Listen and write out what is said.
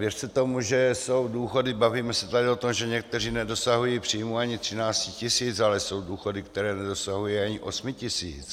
Věřte tomu, že jsou důchody, bavíme se tady o tom, že někteří nedosahují příjmu ani 13 tisíc, ale jsou důchody, které nedosahují ani 8 tisíc.